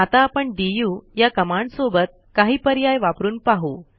आता आपण डीयू या कमांडसोबत काही पर्याय वापरून पाहू